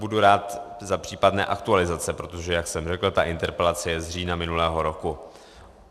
Budu rád za případné aktualizace, protože jak jsem řekl, ta interpelace je z října minulého roku.